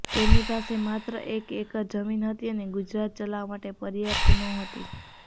તેમની પાસે માત્ર એક એકર જમીન હતી અને ગુજરાન ચલાવવા માટે પર્યાપ્ત નહોતી